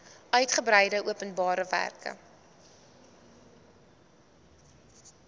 uigebreide openbare werke